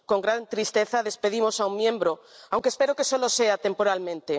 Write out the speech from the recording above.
Con gran tristeza despedimos a un miembro, aunque espero que solo sea temporalmente.